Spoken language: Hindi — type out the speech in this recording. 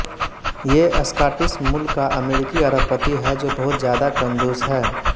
ये स्काटिश मूल का अमेरिकी अरबपति है जो बहुत ज्यादा कंजूस है